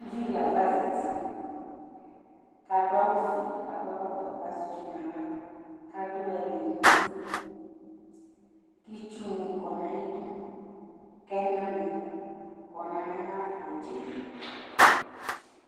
Ʊvɩ dɩ lafa zatɩ, kadʊ awʊ fue, jakɔ ɛkɔtɔ kazɛ ɩtsʊ nawla, kadʊ ɛlɛnʊtɩ, kɩtsʊ nɩ kɔ naƴɩdʊ kɛnani kɔ nayɩtsɛdi